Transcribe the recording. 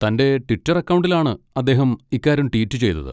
തന്റെ ട്വിറ്റർ അക്കൗണ്ടിലാണ് അദ്ദേഹം ഇക്കാര്യം ട്വീറ്റ് ചെയ്തത്.